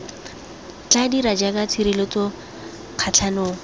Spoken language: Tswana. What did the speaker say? tla dira jaaka tshireletso kgatlhanong